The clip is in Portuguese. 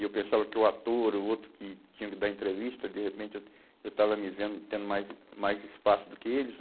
E eu pensava que o ator, o outro que tinha que dar entrevista, de repente eu, eu estava me vendo tendo mais mais espaço do que eles.